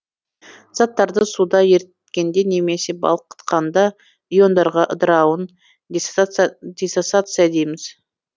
заттарды суда еріткенде немесе балқытканда иондарға ыдырауын диссоциация дейміз